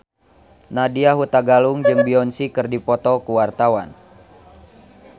Nadya Hutagalung jeung Beyonce keur dipoto ku wartawan